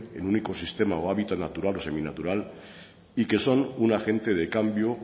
en único sistema o hábito natural o seminatural y que son un agente de cambio